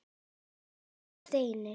Kæri Steini.